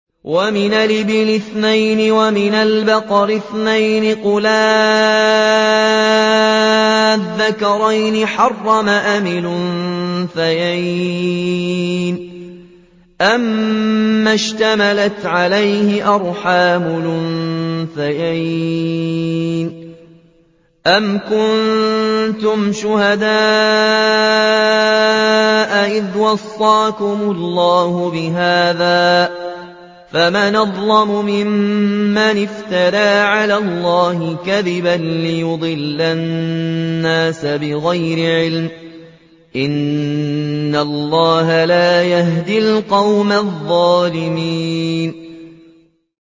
وَمِنَ الْإِبِلِ اثْنَيْنِ وَمِنَ الْبَقَرِ اثْنَيْنِ ۗ قُلْ آلذَّكَرَيْنِ حَرَّمَ أَمِ الْأُنثَيَيْنِ أَمَّا اشْتَمَلَتْ عَلَيْهِ أَرْحَامُ الْأُنثَيَيْنِ ۖ أَمْ كُنتُمْ شُهَدَاءَ إِذْ وَصَّاكُمُ اللَّهُ بِهَٰذَا ۚ فَمَنْ أَظْلَمُ مِمَّنِ افْتَرَىٰ عَلَى اللَّهِ كَذِبًا لِّيُضِلَّ النَّاسَ بِغَيْرِ عِلْمٍ ۗ إِنَّ اللَّهَ لَا يَهْدِي الْقَوْمَ الظَّالِمِينَ